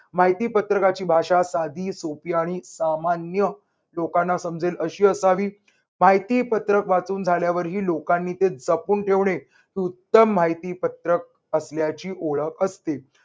माहितीपत्रकाची भाषा साधी, सोपी आणि सामान्य लोकांना समजेल अशी असावी. माहितीपत्रक वाचून झाल्यावरही लोकांनी ते जपून ठेवणे. हे उत्तम माहितीपत्रक असल्याची ओळख असते.